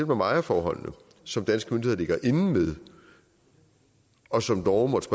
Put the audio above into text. om ejerforholdene som danske myndigheder ligger inde med og som norge måtte